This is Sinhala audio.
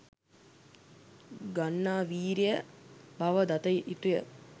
ගන්නා වීරිය බව දත යුතුය.